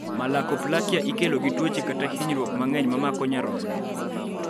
Malakoplakia ikelo gi tuoche kata hinyruok mang'eny mamako nyarogno